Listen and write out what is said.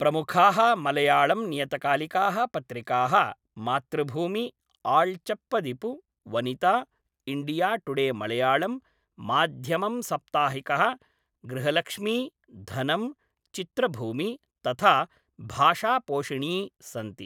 प्रमुखाः मलयाळम्नियतकालिकाः पत्रिकाः मातृभूमि, आळ्चप्पदिपु, वनिता, इण्डियाटुडेमलयाळम्, माध्यमम् साप्ताहिकः, गृहलक्ष्मी, धनम्, चित्रभूमि, तथा भाषापोषिणी सन्ति।